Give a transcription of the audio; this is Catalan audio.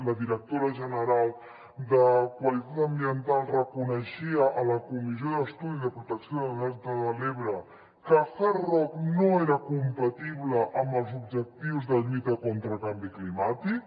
la directora general de qualitat ambiental reconeixia a la comissió d’estudi sobre la protecció del delta de l’ebre que el hard rock no era compatible amb els objectius de lluita contra el canvi climàtic